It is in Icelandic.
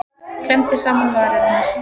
Klemmdi saman varirnar.